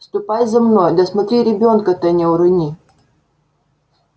ступай за мной да смотри ребёнка-то не урони